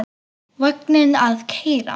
Vagninn að keyra.